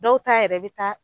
Dɔw ta yɛrɛ bɛ taa